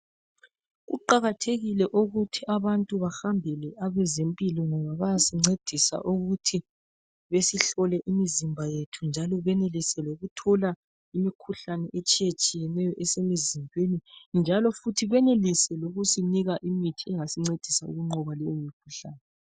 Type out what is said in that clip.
Kuqakathekile ukuthi abantu bahambele abezempilo ngoba bayasincedisa ukuthi besihlole imizimba yethu njalo benelise lokuthola, imikhuhlane etshiye tshiyeneyo esemizimbeni njalo futhi benelise lokusinika imithi engasincedisa ukunqoba leyo mikhuhlane.